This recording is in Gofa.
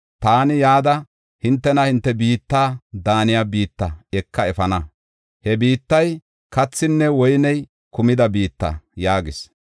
Taani yada, hintena hinte biitta daaniya biitta ekada efana. He biittay kathinne woyney kumida biitta’ ” yaagis.